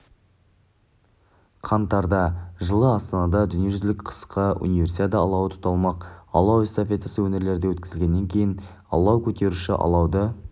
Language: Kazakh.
қаңтарда жылы астанада дүниежүзілік қысқы универсиада алауы тұталмақ алау эстафетасы өңірлерде өткізілгеннен кейін алау көтеруші алауды